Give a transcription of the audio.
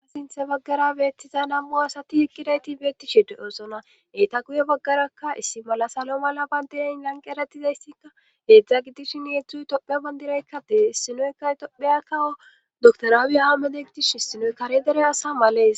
a sinthe baggara beettiza nam7u asati iqqidayti beettishe de7osona eyta guye baggarakka issi mala salo mala bandeayn lanqe eratizaysika heedzdza gidishshin yedzdzuy tophe bandiraykka dee issinoykka topheyakawo dotorawi aamede gidish issinoy kare dere asa malees.